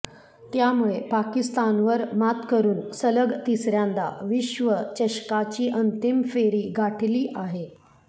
त्यामुळे पाकिस्तानवर मात करुन सलग तिसऱ्यांदा विश्वचषकाची अंतिम फेरी गाठली आहे